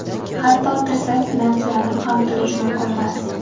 Hatto, tirsak bilan suyanib ham turish mumkinmas.